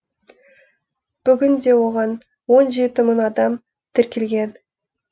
бүгінде оған он жеті мың адам тіркелген